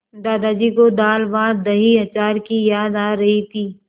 दादाजी को दालभातदहीअचार की याद आ रही थी